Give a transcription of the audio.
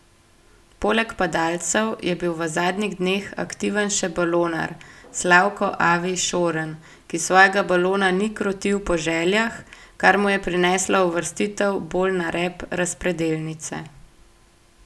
Poleg padalcev je bil v zadnjih dneh aktiven še balonar Slavko Avi Šorn, ki svojega balona ni krotil po željah, kar mu je prineslo uvrstitev bolj na rep razpredelnice.